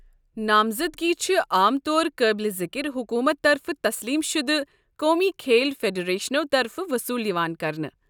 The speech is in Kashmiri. نامزدگی چھ عام طور قٲبل ذکر حکومت طرفہٕ تسلیم شُدٕ قومی کھیل فیڈریشنو طرفہٕ وصوٗل یوان کرنہٕ۔